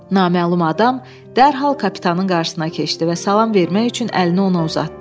Naməlum adam dərhal kapitanın qarşısına keçdi və salam vermək üçün əlini ona uzatdı.